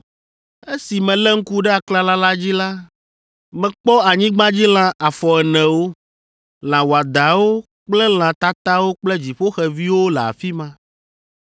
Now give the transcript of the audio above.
Esi melé ŋku ɖe aklala la dzi la, mekpɔ anyigbadzilã afɔenewo, lã wɔadãwo kple lã tatawo kple dziƒoxeviwo le afi ma.